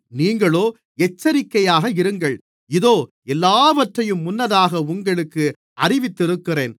நீங்களோ எச்சரிக்கையாக இருங்கள் இதோ எல்லாவற்றையும் முன்னதாக உங்களுக்கு அறிவித்திருக்கிறேன்